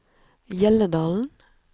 Hjelledalen